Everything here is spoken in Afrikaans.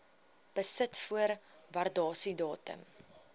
besit voor waardasiedatum